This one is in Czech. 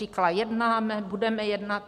Říkala: jednáme, budeme jednat.